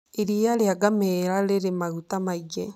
Iria rĩa ngamĩĩra rĩrĩ maguta maingĩ.